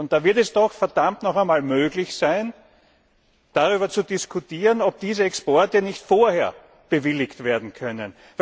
Da wird es doch verdammt noch einmal möglich sein, darüber zu diskutieren, ob diese Exporte nicht vorher bewilligt werden können.